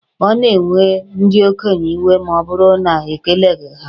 Ọ na-ewe ndị okenye iwe ma ọ bụrụ na e keleghi ha.